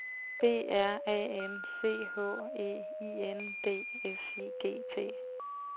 B R A N C H E I N D S I G T